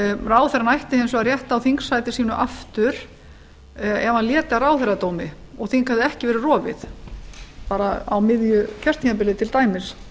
ráðherrann ætti hins vegar rétt á þingsæti sínu aftur ef hann léti af ráðherradómi og þing hefði ekki verið rofið á miðju kjörtímabili til dæmis